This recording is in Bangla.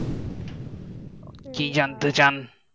ok কি জানতে চান